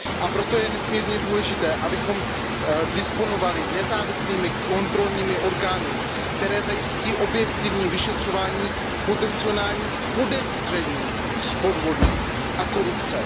A proto je nesmírně důležité, abychom disponovali nezávislými kontrolními orgány, které zajistí objektivní vyšetřování potencionálních podezření z podvodů a korupce.